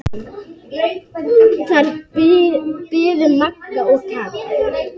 Þar biðu Magga og Kata.